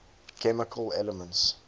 chemical elements